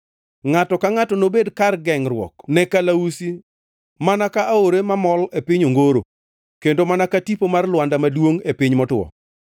Ngʼato ka ngʼato nobed kar gengʼruok ne kalausi mana ka aore mamol e piny ongoro, kendo mana ka tipo mar Lwanda maduongʼ e piny motwo.